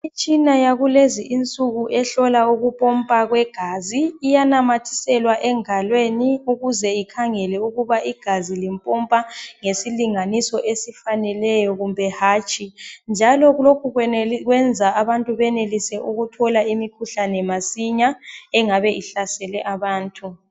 Imitshina yakulezi insuku ehlola ukupompa kwegazi iyanamathiselwa engalweni ukuze ikhangele ukuba igazi lipompa ngesilinganiso esifaneleyo kumbe hatshi njalo lokhu kwenza abantu benelise ukuthola imikhuhlane masinya engabe ihlasele abantu